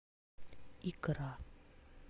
икра